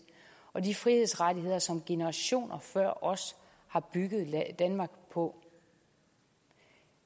og de frihedsrettigheder som generationer før os har bygget danmark på